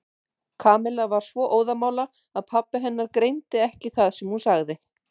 Kamilla var svo óðamála að pabbi hennar greindi ekki það sem hún sagði.